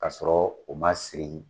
Ka sɔrɔ u ma siri.